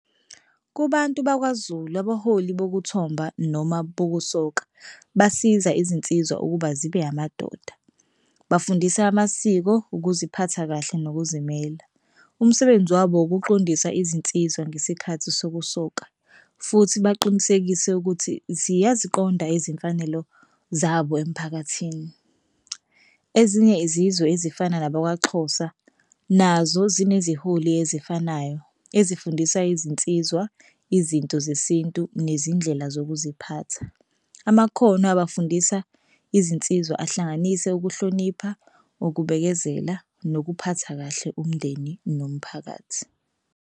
Kubantu bakwaZulu abaholi bokuthomba noma bokusoka basiza izinsizwa ukuba zibe amadoda, bafundisa amasiko, ukuziphatha kahle nokuzimela. Umsebenzi wabo ukuqondisa izinsiza ngesikhathi sokusoka futhi baqinisekise ukuthi ziyaziqonda izimfanelo zabo emphakathini. Ezinye izizwe ezifana nabakwaXhosa nazo zineziholi ezifanayo ezifundisa izinsizwa, izinto zesintu, nezindlela zokuziphatha. Amakhono abafundisa izinsizwa ahlanganise ukuhlonipha, ukubekezela, nokuphatha kahle umndeni nomphakathi.